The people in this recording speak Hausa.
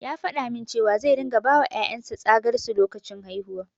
Ya faɗa min cewa zai ringa bawa ƴaƴan sa tsagar su lokacin haihuwa.